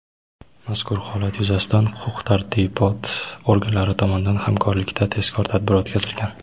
mazkur holat yuzasidan huquq-tartibot organlari tomonidan hamkorlikda tezkor tadbir o‘tkazilgan.